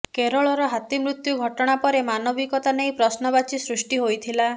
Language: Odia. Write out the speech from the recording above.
କେରଳର ହାତୀ ମୃତ୍ୟୁ ଘଟଣା ପରେ ମାନବିକତା ନେଇ ପ୍ରଶ୍ନବାଚୀ ସୃଷ୍ଟି ହୋଇଥିଲା